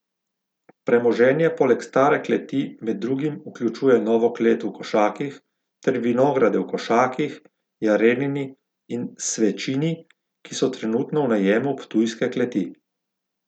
Premoženje poleg stare kleti med drugim vključuje novo klet v Košakih ter vinograde v Košakih, Jarenini in Svečini, ki so trenutno v najemu Ptujske kleti.